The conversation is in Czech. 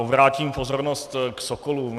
Obrátím pozornost k sokolům.